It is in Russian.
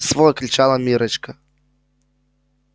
свой кричала миррочка